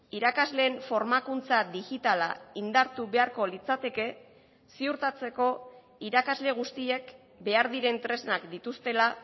irakasleen formakuntza digitala indartu beharko litzateke ziurtatzeko irakasle guztiek behar diren tresnak dituztela